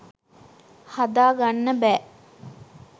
හදාගන්න බෑ.